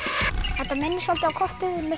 þetta minnir soldið á kortið með